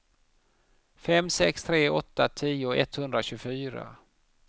fem sex tre åtta tio etthundratjugofyra